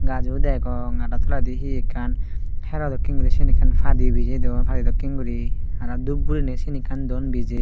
gaj o degong aro toledi he ekkan hero dokke guri sen ekkan padi bijei don padi dokken guri aro dhup guriney sen ekkan don bijei